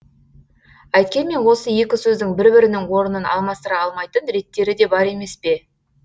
әйткенмен осы екі сөздің бір бірінің орнын алмастыра алмайтын реттері де бар емес пе